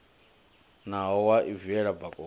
naho wa i viela bakoni